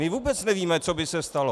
My vůbec nevíme, co by se stalo.